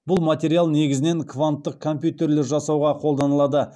бұл материал негізінен кванттық компьютерлер жасауға қолданылады